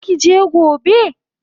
Zaki je gobe?